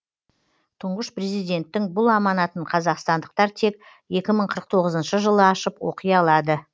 тұңғыш президенттің бұл аманатын қазақстандықтар тек екі мың қырық тоғызыншы жылы ашып оқи алады